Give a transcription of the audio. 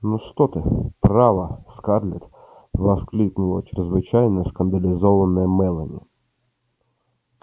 ну что ты право скарлетт воскликнула чрезвычайно скандализованная мелани